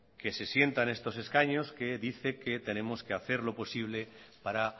que se sienta en estos escaños que dice que tenemos que hacer lo posible para